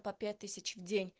по пять тысяч в день